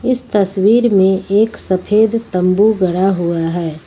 इस तस्वीर में एक सफेद तंबू गढ़ा हुआ है।